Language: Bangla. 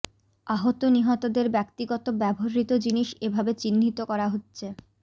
আহত নিহতদের ব্যক্তিগত ব্যবহৃত জিনিস এভাবে চিহ্নিত করা হচ্ছে